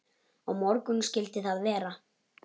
Á morgun skyldi það vera.